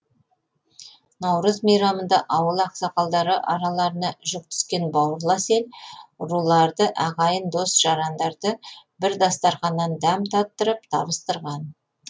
наурыз мейрамында ауыл ақсақалдары араларына жік түскен бауырлас ел руларды ағайын дос жарандарды бір дастарқаннан дәм таттырып табыстырған